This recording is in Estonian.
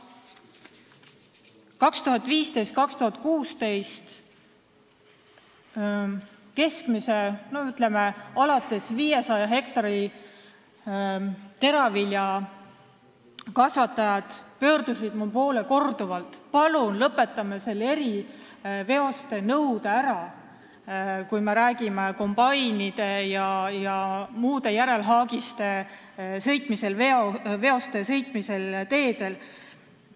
Aastatel 2015–2016 pöördusid mu poole korduvalt keskmiselt 500 hektaril teravilja kasvatavad põllumehed, et palun kaotame selle eriveoste vedamise nõude ära, kui me räägime kombainide ja järelhaagiste sõitmisest teedel.